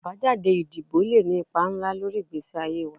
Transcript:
Abajade idibo le ni ipa nla lori igbesi aye wa